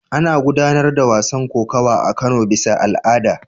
Ana gudanar da wasan kokawa a Kano bisa al'ada.